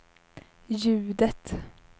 ljudet